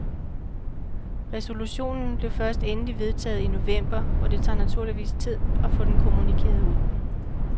Resolutionen blev først endeligt vedtaget i november og det tager naturligvis tid at få den kommunikeret ud.